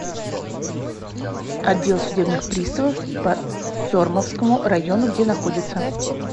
отдел судебных приставов по сормовскому району где находится